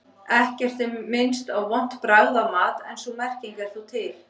Ekkert er minnst á vont bragð af mat en sú merking er þó til.